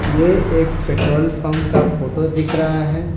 ये एक petrol pump का फोटो दिख रहा है।